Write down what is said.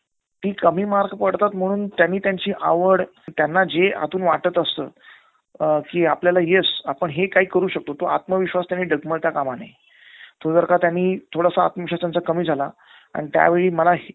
ती कमी पडतात म्हणून त्यांनी त्यांची आवड, त्यांना जे आतून वाटत असतं कि आपल्याला येस आपण हे काही करु शकतो तो आत्मविश्वास त्यांनी डगमळता काम नये. तो जर का त्यांनी थोडासा आत्मविश्वास त्यांचा कमी झाला आणि त्यावेळा मला